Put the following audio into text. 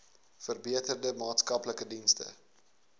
verbeterde maatskaplike dienste